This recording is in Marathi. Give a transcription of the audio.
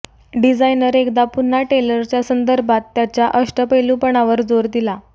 डिझायनर एकदा पुन्हा टेलरच्या संदर्भात त्याच्या अष्टपैलुपणावर जोर दिला